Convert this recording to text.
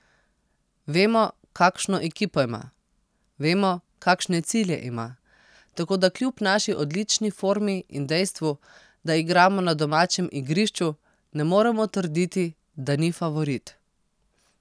Vemo, kakšno ekipo ima, vemo, kakšne cilje ima, tako da kljub naši odlični formi in dejstvu, da igramo na domačem igrišču, ne moremo trditi, da ni favorit.